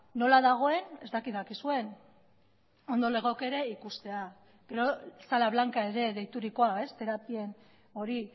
nola dagoen ez dakit dakizuen ondo legoke ere ikustea gero sala blanca ere deiturikoa terapien hori